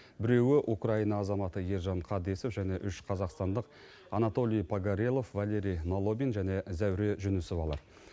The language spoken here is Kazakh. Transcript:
біреуі украина азаматы ержан қадесов және үш қазақстандық анатолий погорелов валерий налобин және зәуре жүнісовалар